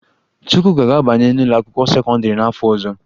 Chukwuka ga-abanye n'ụlọakwụkwọ sekọndịrị n'afọ ọzọ